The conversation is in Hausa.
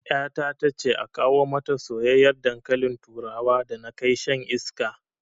Ƴata tace a kawo mata soyyiyar dankalin turawa da na kai shan iska